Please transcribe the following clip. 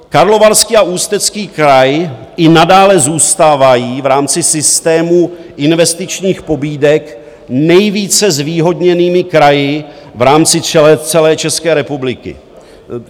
Karlovarský a Ústecký kraj i nadále zůstávají v rámci systému investičních pobídek nejvíce zvýhodněnými kraji v rámci celé České republiky.